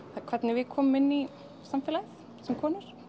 hvernig við komum inn í samfélagið sem konur